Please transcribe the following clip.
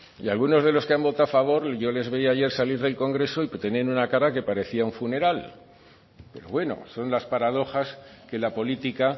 y algunos de los que han votado a favor yo les veía ayer salir del congreso y tenían una cara que parecía un funeral pero bueno son las paradojas que la política